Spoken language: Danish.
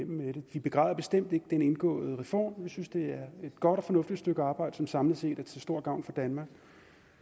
vi begræder bestemt ikke den indgåede reform vi synes det er et godt og fornuftigt stykke arbejde som samlet set er til stor gavn for danmark